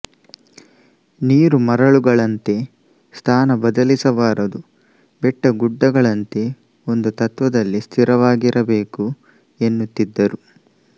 ನೀರು ಮರಳುಗಳಂತೆ ಸ್ಥಾನ ಬದಲಿಸಬಾರದು ಬೆಟ್ಟಗುಡ್ಡಗಳಂತೆ ಒಂದು ತತ್ವದಲ್ಲಿ ಸ್ಥಿರವಾಗಿರಬೇಕು ಎನ್ನುತ್ತಿದ್ದರು